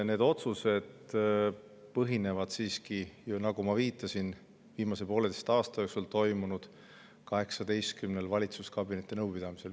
Need otsused põhinevad siiski, nagu ma viitasin, viimase pooleteise aasta jooksul toimunud 18‑l valitsuskabineti nõupidamisel.